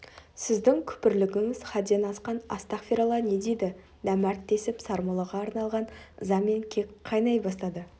сіздің күпірлігіңіз хадден асқан астағфиралла не дейді нәмәрт десіп сармоллаға арналған ыза мен кек қайнай бастады